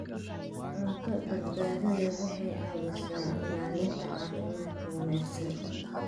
Cunto badbaado leh waxay caawisaa ilaalinta caafimaadka wanaagsan.